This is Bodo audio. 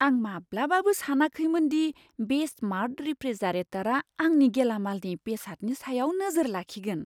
आं माब्लाबाबो सानाखैमोन दि बे स्मार्ट रेफ्रिजारेटारआ आंनि गेलामालनि बेसादनि सायाव नोजोर लाखिगोन।